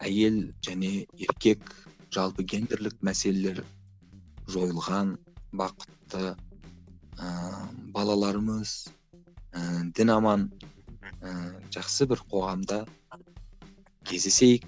әйел және еркек жалпы гендірлік мәселелер жойылған бақытты ыыы балаларымыз ііі дін аман ііі жақсы бір қоғамда кездесейік